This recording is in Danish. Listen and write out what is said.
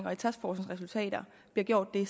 og taskforcens resultater bliver gjort det